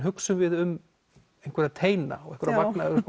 hugsum við um einhverja teina og einhverja vagna